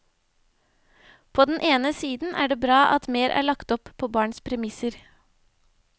På den ene siden er det bra at mer er lagt opp på barns premisser.